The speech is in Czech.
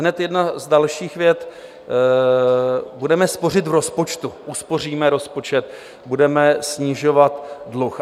Hned jedna z dalších vět: Budeme spořit v rozpočtu, uspoříme rozpočet, budeme snižovat dluh.